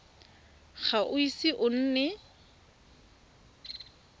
ga o ise o nne